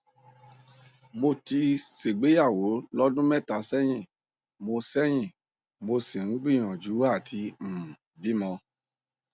mo ti ṣègbéyàwó lọdún mẹta sẹyìn mo sẹyìn mo sì ń gbìyànjú àti um bímọ